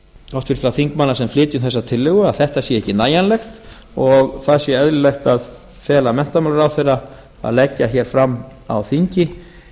háttvirtra þingmanna sem flytjum þessa tillögu að þetta sé ekki nægjanlegt og það sé eðlilegt að fela menntamálaráðherra að leggja hér fram á þingi